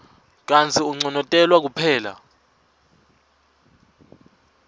kantsi unconotelwa kuphela